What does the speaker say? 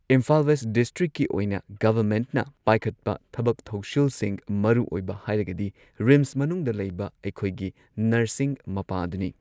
Imphal west ꯗꯤꯁꯇ꯭ꯔꯤꯛꯀꯤ ꯑꯣꯏꯅ ꯒꯚꯔꯃꯦꯟꯠꯅ ꯄꯥꯏꯈꯠꯄ ꯊꯕꯛ ꯊꯧꯁꯤꯜꯁꯤꯡ ꯃꯔꯨꯑꯣꯏꯕ ꯍꯥꯏꯔꯒꯗꯤ ꯔꯤꯝꯁ ꯃꯅꯨꯡꯗ ꯂꯩꯕ ꯑꯩꯈꯣꯏꯒꯤ ꯅꯔꯁꯤꯡ ꯃꯄꯥ ꯑꯗꯨꯅꯤ꯫